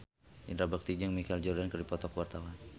Indra Bekti jeung Michael Jordan keur dipoto ku wartawan